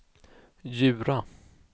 Djura